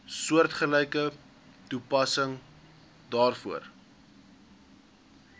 soortgelyke toepassing daarvoor